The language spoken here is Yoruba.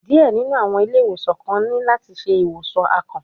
Diẹ ninu awọn ile-iwosan kan ni lati ṣe iwosan akàn